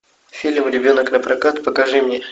фильм ребенок на прокат покажи мне